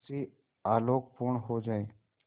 उससे आलोकपूर्ण हो जाए